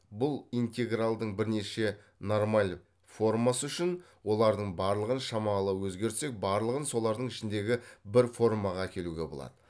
бұл интегралдың бірнеше нормаль формасы үшін олардың барлығын шамалы өзгертсек барлығын солардың ішіндегі бір формаға әкелуге болады